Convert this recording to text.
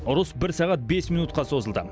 ұрыс бір сағат бес минутқа созылды